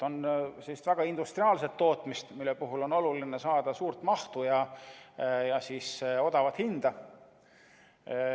On väga industriaalset tootmist, mille puhul on oluline saada suurt mahtu ja odavat hinda.